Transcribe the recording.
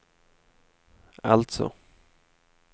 alltså